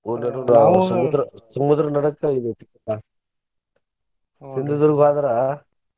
ಸಮುದ್ರ ಸಮುದ್ರ ನಡಕ ಇದ ಐತಿ ಹ್ವಾದ್ರ.